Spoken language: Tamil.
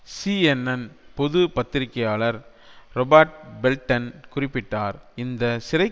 சிஎன்என் பொது பத்திரிக்கையாளர் றொபர்ட் பெல்ட்டன் குறிப்பிட்டார் இந்த சிறை